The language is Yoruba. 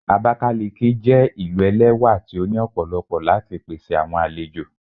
Abakiliki jé ilú ẹlẹwà tí o ní òpòlopo láti pèsè àwọn àlejò.